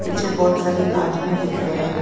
पीछे बहुत सारे आदमी दिख रहे हैं।